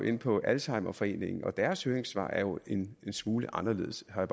inde på alzheimerforeningen og deres høringssvar er jo en smule anderledes har